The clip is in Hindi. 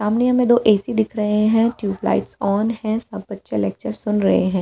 सामने हमें दो ए_सी दिख रहे हैं ट्यूब लाइट्स ऑन है सब बच्चे लेक्चर सुन रहे हैं।